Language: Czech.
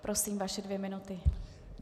Prosím, vaše dvě minuty.